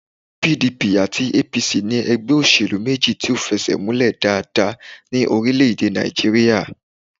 PDP àti APC ní ẹgbẹ́ òṣèlú méjì tó fẹsẹ̀múlẹ̀ dáadáa ní orílẹ̀-èdè Nàìjíríyà